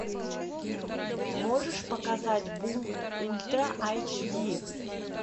можешь показать бум ультра айч ди